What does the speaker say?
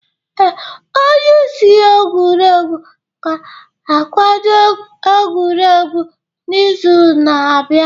Ee, onye isi egwuregwu ga-akwado egwuregwu n'izu na-abịa.